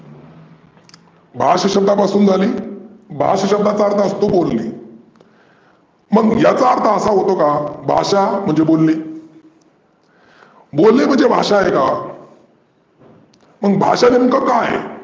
भाष्य शब्दा पासून झाली. भाष्य शब्दाचा अर्थ असतो बोली. मग याचा अर्थ असा होतो का? भाषा म्हणजे बोलने. बोलने म्हणजे भाषा आहे का? मग भाषा नेमक काय आहे?